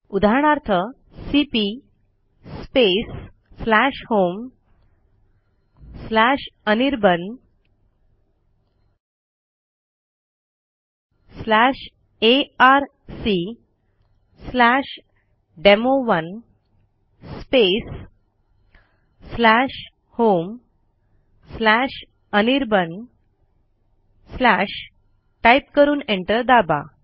उदाहरणार्थ cp homeanirbanarcdemo1 homeanirban type करून enter दाबा